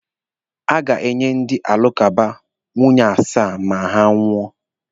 A ga-enye ndị alakụba nwunye asaa mgbe ha nwụọ.